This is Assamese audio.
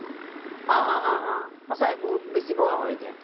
অ অ অ স্চাকে বহুত বগা কৰি দিয়ে